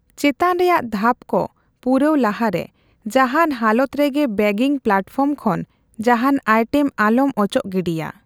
ᱪᱮᱛᱟᱱ ᱨᱮᱭᱟᱜ ᱫᱷᱟᱯ ᱠᱚ ᱯᱩᱨᱟᱹᱣ ᱞᱟᱦᱟ ᱨᱮ, ᱡᱟᱦᱟᱱ ᱦᱟᱞᱚᱛ ᱨᱮᱜᱮ ᱵᱮᱜᱤᱝ ᱯᱞᱟᱴᱯᱷᱚᱨᱢ ᱠᱷᱚᱱ ᱡᱟᱦᱟᱸᱱ ᱟᱭᱴᱮᱢ ᱟᱞᱚᱢ ᱚᱪᱚᱜ ᱜᱤᱰᱤᱭᱟ ᱾